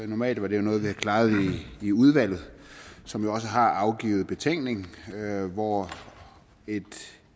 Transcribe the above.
normalt var det noget vi havde klaret i udvalget som jo også har afgivet betænkning hvor et